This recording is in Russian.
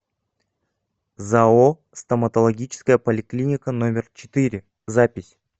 зао стоматологическая поликлиника номер четыре запись